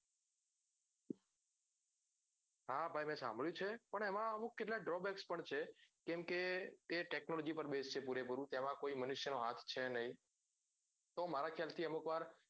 હા ભાઈ મેં સાંભળ્યું છે મેં એમાં અમુક કેટલા drawbacks પણ છે કે એ technology પાર based છે પૂરેપૂરું તેમાં કોઈ માનનુષ્ય નો હાથ છે નઈ તો મારા ખ્યાલ થી અમુક વાર